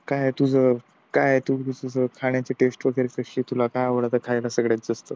काही नाही तुझं काय तुझी खाण्याची टेस्ट वैगरे कशी आहे तुला खायला आवडता सर्वात जास्त